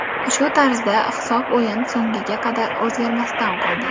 Shu tarzda hisob o‘yin so‘ngiga qadar o‘zgarmasdan qoldi.